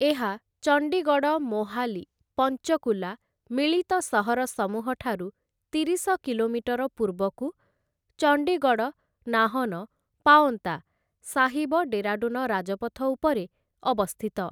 ଏହା ଚଣ୍ଡିଗଡ଼ ମୋହାଲି ପଞ୍ଚକୁଲା ମିଳିତ ସହର ସମୂହ ଠାରୁ ତିରିଶ କିଲୋମିଟର ପୂର୍ବକୁ, ଚଣ୍ଡିଗଡ଼-ନାହନ-ପାଓନ୍ତା ସାହିବ-ଡେରାଡୁନ ରାଜପଥ ଉପରେ ଅବସ୍ଥିତ ।